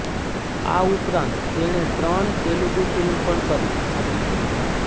આ ઉપરાંત તેણે ત્રણ તેલુગુ ફિલ્મ પણ કરી હતી